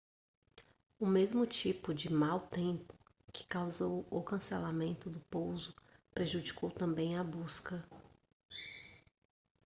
o mesmo tipo de mau tempo que causou o cancelamento do pouso prejudicou também a busca